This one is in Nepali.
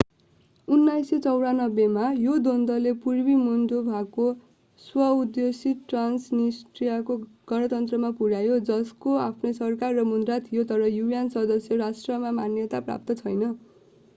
1994 मा यो द्वन्द्वले पूर्वी मोल्डोभाको स्व-उद्घोषित ट्रान्सनिस्ट्रिया गणतन्त्रमा पुर्‍यायो जसको आफ्नै सरकार र मुद्रा थियो तर un सदस्य राष्ट्रमा मान्यता प्राप्त छैन।।